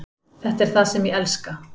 Þetta er það sem ég elska.